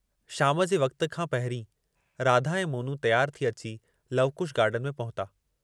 शाम जे वक़्ति खां पहिरीं राधा ऐं मोनू तियारु थी अची लवकुश गार्डन में पहुता।